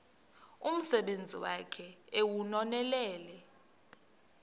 umsebenzi wakhe ewunonelele